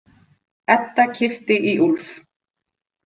Edda kippti í Úlf.